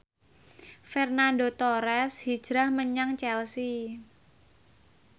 Fernando Torres hijrah menyang Chelsea